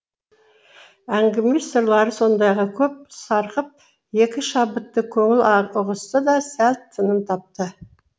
әңгіме сырлары сондайға көп сарқып екі шабытты көңіл ұғысты да сәл тыным тапты